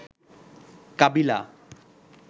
কাবিলা